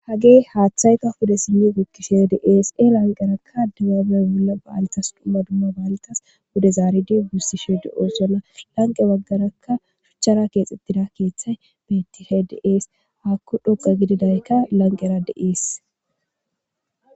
hagey haaththayka wude simyi gokkisedeees e lanqerakka debaabe wolla ba7althas dhumma dumma baaltas wude zaaridi gussi shede oosona lanqe baggarakka shuchchara keexxettida keeththay bettihede7ees hakko dhoqa gididaykka lanqerade7ees